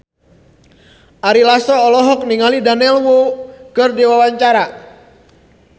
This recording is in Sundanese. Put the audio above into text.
Ari Lasso olohok ningali Daniel Wu keur diwawancara